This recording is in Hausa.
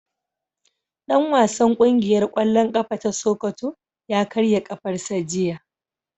Dan wasan kungiyar kwallon kafa ta sokoto ya karya kafarsa jiya.